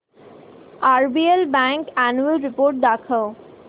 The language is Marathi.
आरबीएल बँक अॅन्युअल रिपोर्ट दाखव